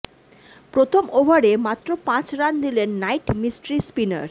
প্রথম ওভারে মাত্র পাঁচ রান দিলেন নাইট মিস্ট্রি স্পিনার